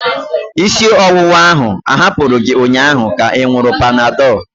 Isi ọwụwa ahụ ahapụ gị ụnyaahụ ka ị ṅuru panadol?